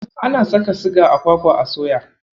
Ana saka siga a kwakwa a soya.